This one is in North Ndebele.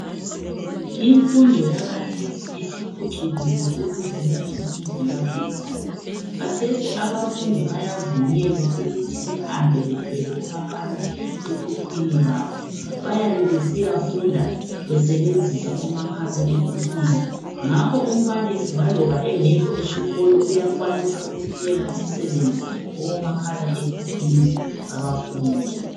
Imfundo yakhathesi isiphucukile ukudlula imfundo yakudala, kathesi abafundi bayavunyelwa ukuthi bahambe bethwele omakhala ekhukhwini babo, bayabe besiyafunda besebenzisa omakhala ekhukhwini. Ngakho umbalisi laloba engekho esikolo uyakwanisa ukuthumela umsebenzi kubomakhala ekhukhwini babafundi.